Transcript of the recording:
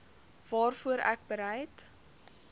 waarvoor ek bereid